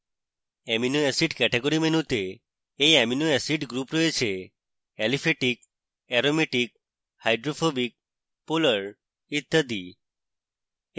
amino acids category মেনুতে এই amino acids group রয়েছে: aliphatic aromatic hydrophobic polar ইত্যাদি